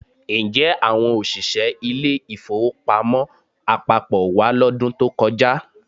Ǹjẹ́ àwọn òṣìṣẹ́ ilé-ìfowópamọ́ àpapọ̀ wá lọ́dún tó kọjá?